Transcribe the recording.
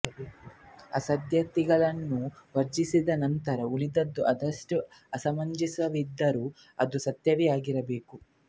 ಅಸಾಧ್ಯತೆಗಳನ್ನು ವರ್ಜಿಸಿದ ನಂತರ ಉಳಿದದ್ದು ಅದೆಷ್ಟೇ ಅಸಮಂಜಸವಿದ್ದರೂ ಅದು ಸತ್ಯವೇ ಆಗಿರಬೇಕು